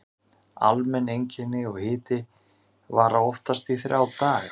Almenn einkenni og hiti vara oftast í þrjá daga.